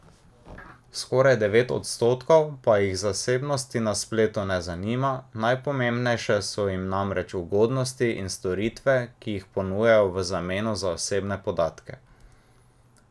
Skoraj devet odstotkov pa jih zasebnosti na spletu ne zanima, najpomembnejše so jim namreč ugodnosti in storitve, ki jih ponujajo v zameno za osebne podatke.